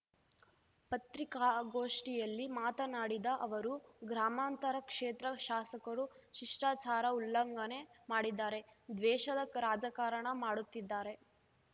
ಪತ್ರಿಕಾಗೋಷ್ಠಿಯಲ್ಲಿ ಮಾತನಾಡಿದ ಅವರು ಗ್ರಾಮಾಂತರ ಕ್ಷೇತ್ರ ಶಾಸಕರು ಶಿಷ್ಟಾಚಾರ ಉಲ್ಲಂಘನೆ ಮಾಡಿದ್ದಾರೆ ದ್ವೇಷದ ರಾಜಕಾರಣ ಮಾಡುತ್ತಿದ್ದಾರೆ